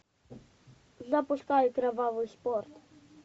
запускай кровавый спорт